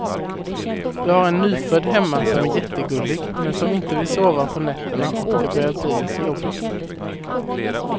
Vi har en nyfödd hemma som är jättegullig, men som inte vill sova på nätterna och det börjar bli lite jobbigt.